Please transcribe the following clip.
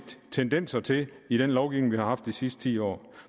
tendenser til i den lovgivning vi har haft de sidste ti år